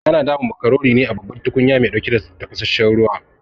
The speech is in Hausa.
Ana dama macaroni ne a babban tukunyar mai ɗauke da tafasasshen ruwa